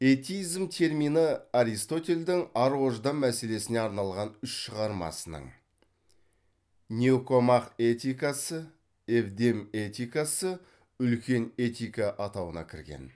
этизм термині аристотельдің ар ождан мәселесіне арналған үш шығармасының никомах этикасы евдем этикасы үлкен этика атауына кірген